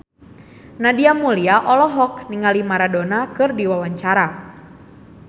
Nadia Mulya olohok ningali Maradona keur diwawancara